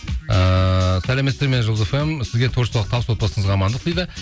ыыы сәлеметсіздер ме жұлдыз фм сізге творчестволық табыс отбасыңызға амандық дейді